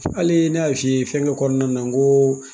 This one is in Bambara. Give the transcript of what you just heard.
Hali ne y'a f'i ye fɛnkɛ kɔnɔna na n ko